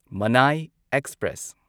ꯃꯅꯥꯢ express